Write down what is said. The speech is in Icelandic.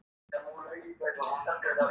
Og kitla hana.